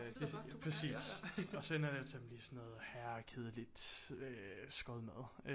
Præcis og så ender det altid med at blive sådan noget herrekedeligt skodmad